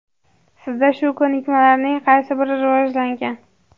Sizda shu ko‘nikmalarning qaysi biri rivojlangan?.